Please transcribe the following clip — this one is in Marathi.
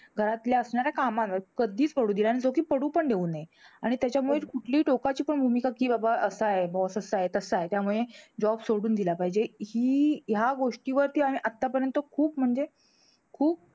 घरातल्या असणाऱ्या कामांवर कधीच पडू दिला नाही. जो कि पडू पण देऊ नये. आणि त्याच्यामुळे कुठलीहि टोकाची पण भूमिका कि बाबा असा आहे. boss तसा आहे, तसा आहे त्यामुळे job सोडून दिला पाहिजे, हि ह्या गोष्टीवर किंवा आम्ही आतापर्यंत खूप म्हणजे खूप